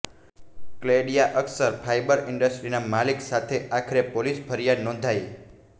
કલેડિયા Akshar fibre ઇન્ડસ્ટ્રીઝના માલિક સામે આખરે પોલીસ ફરિયાદ નોંધાઇ